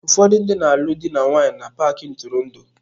Ụfọdụ ndị na-alụ di na nwunye na paaki ntụrụndụ.